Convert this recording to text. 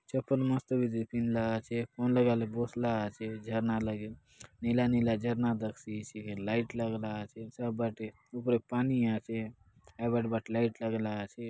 चप्पल मस्त बिजी पिन्धला आचे मनलगाले बसला आचे झरना लागे नीला नीला झरना दखसेइचि हे लाइट लागला आचे सब बाटे उपरे पानी आचे एबर बाट लाइट लगला आचे।